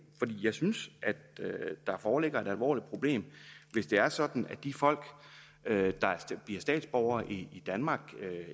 for jeg synes at der foreligger et alvorligt problem hvis det er sådan at de folk der bliver statsborgere i danmark